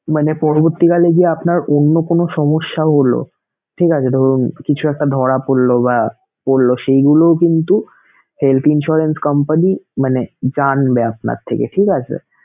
মানে পরবর্তীকালে গিয়ে আপনার অন্য কোন সমস্যা হলো, ঠিক আছে! ধরুন কিছু একটা ধরা পরলো বা পরলো সেইগুলো কিন্তু health insurance company মানে জানবে আপনার থেকে, ঠিক আছে!